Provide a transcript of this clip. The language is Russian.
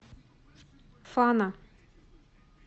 фана